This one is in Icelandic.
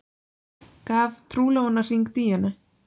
Gaf trúlofunarhring Díönu